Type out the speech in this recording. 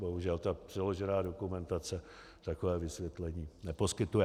Bohužel, ta přiložená dokumentace takové vysvětlení neposkytuje.